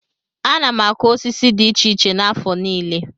Ana m akụ osisi dị iche iche n'afọ niile.